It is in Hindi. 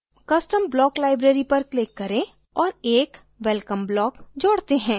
custom block library पर click करें और एक welcome block जोड़ते हैं